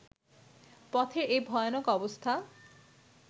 পথের এই ভয়ানক অবস্থা